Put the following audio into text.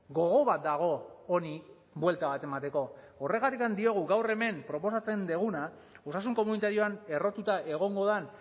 gogo bat dago honi buelta bat emateko horregatik diogu gaur hemen proposatzen duguna osasun komunitarioan errotuta egongo den